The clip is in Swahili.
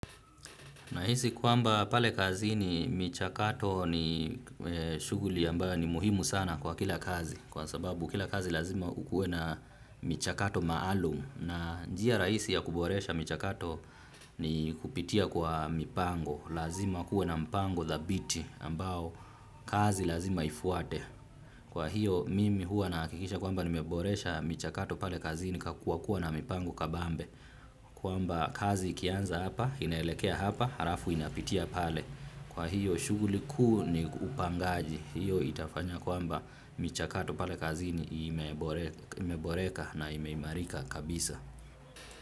Nahisi kwamba pale kazini michakato ni shuguli ambayo ni muhimu sana kwa kila kazi. Kwa sababu kila kazi lazima kukuwe na michakato maalum. Na njia rahisi ya kuboresha michakato ni kupitia kwa mipango. Lazima kuwe na mpango dhabiti ambao kazi lazima ifuate. Kwa hiyo mimi huwa nahakikisha kwamba ni meboresha michakato pale kazini nikakuwa kuwa na mipango kabambe. Kwamba kazi ikianza hapa inaelekea hapa halafu inapitia pale. Kwa hiyo shuguli kuu ni upangaji. Hiyo itafanya kwamba michakato pale kazini imeboreka na imeimarika kabisa.